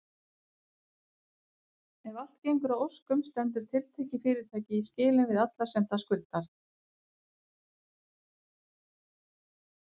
Ef allt gengur að óskum stendur tiltekið fyrirtæki í skilum við alla sem það skuldar.